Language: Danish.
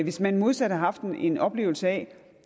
hvis man modsat har haft en oplevelse af at